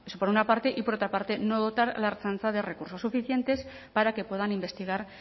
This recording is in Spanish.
por una parte y por otra parte no dotar a la ertzaintza de recursos suficientes para que puedan investigar